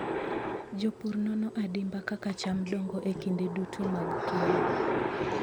Jopur nono adimba kaka cham dongo e kinde duto mag keyo.